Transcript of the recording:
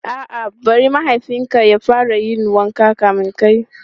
A'a, bari mahaifin ka ya fara yin wanka kamin kai.